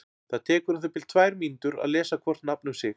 Það tekur um það bil tvær mínútur að lesa hvort nafn um sig.